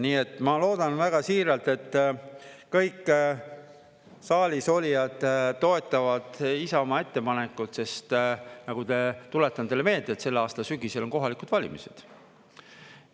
Nii et ma loodan väga siiralt, et kõik saalisolijad toetavad Isamaa ettepanekut, sest nagu te … tuletan teile meelde, et selle aasta sügisel on kohalikud valimised.